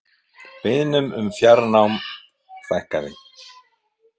Beiðnum um fjárnám fækkaði